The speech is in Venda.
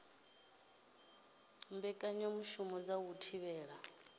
u mbekanyamushumo dza u thivhela